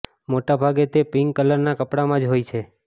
મોટા ભાગે તે પિન્ક કલરના કપડામાં જ હોય છે